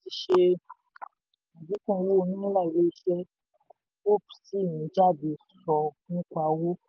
ṣe adínkù owó náírà ilé iṣẹ́ hope sì ń jáde ṣọ nípa owó